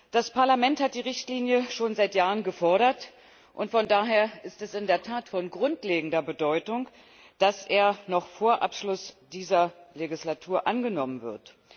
Das Parlament hat die Richtlinie schon seit Jahren gefordert, und daher ist es in der Tat von grundlegender Bedeutung, dass sie noch vor Abschluss dieser Legislatur angenommen wird.